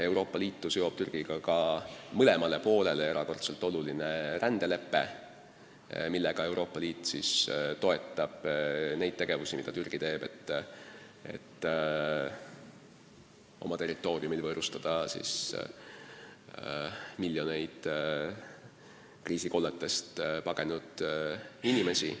Euroopa Liitu seob Türgiga ka mõlemale poolele erakordselt oluline rändelepe, millega Euroopa Liit toetab kõike seda, mida Türgi teeb, et oma territooriumil võõrustada miljoneid kriisikolletest pagenud inimesi.